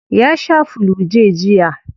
Ya shaa flu-j jiya.